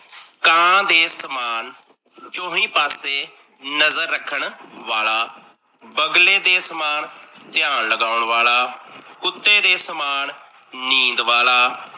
ਕਾਂ ਦੇ ਸਮਾਣ ਚੋਂਹੀ ਪਾਸੇ ਨਜਰ ਰੱਖਣ ਵਾਲਾ, ਬਗਲੇ ਦੇ ਸਮਾਣ ਧਿਆਨ ਲਗਾਉਣ ਵਾਲਾ, ਕੁੱਤੇ ਦੇ ਸਮਾਣ ਨੀਂਦ ਵਾਲਾ,